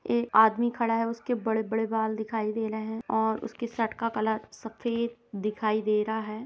ये आदमी खड़ा है उसके बड़े बड़े बाल दिखाई दे रहे है और उसकी शर्ट का कलर सफेद दिखाई दे रहा है ।